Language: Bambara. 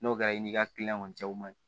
N'o kɛra i n'i ka kiliyanw cɛw ma